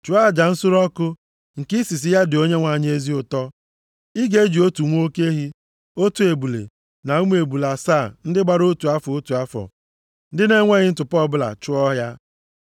Chụọ aja nsure ọkụ, nke isisi ya dị Onyenwe anyị ezi ụtọ. Ị ga-eji otu nwa oke ehi, otu ebule na ụmụ ebule asaa ndị gbara otu afọ, otu afọ, ndị na-enweghị ntụpọ ọbụla, chụọ ya.